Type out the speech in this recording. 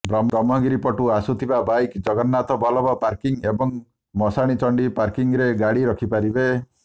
ବ୍ରହ୍ମଗିରି ପଟୁ ଆସୁଥିବା bike Jagannath Ballabh parking ଏବଂ ମଶାଣିଚଣ୍ଡି ପାର୍କିଂରେ ଗାଡ଼ି ରଖିପାରିବେ